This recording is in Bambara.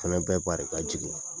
Fɛnɛ bɛɛ bari ka jigin